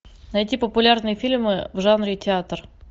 найти популярные фильмы в жанре театр